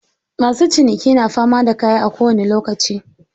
Masu ciniki na fama da kaya a kowani lokaci.